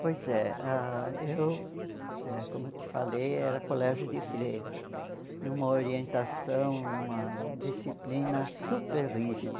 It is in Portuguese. Pois é, ah eu, eh como eu te falei, era colégio de freira, numa orientação, numa disciplina super rígida.